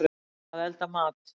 Að elda mat.